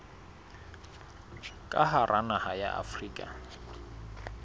ka hara naha ya afrika